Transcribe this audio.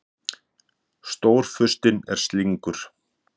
Stórfurstinn er slyngur.